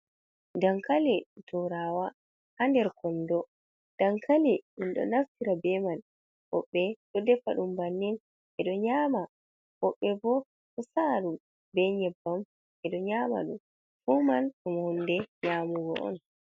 Dankali turawa ha nder kondo, dankali ɗum ɗo naftira be man, woɓbe ɗo defa ɗum bannin ɓedo nyama, woɓbe bo ɗo sa'a ɗum be nyebbam ɓeɗo nyama ɗum, fu man ɗum hunde nyamugo on.